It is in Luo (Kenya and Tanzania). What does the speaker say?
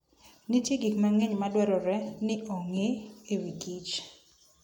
Nitie gik mang'eny madwarore ni ong'e e wi Kich